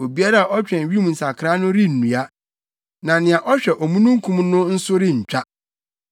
Obiara a ɔtwɛn wim nsakrae no rennua, na nea ɔhwɛ omununkum no nso rentwa.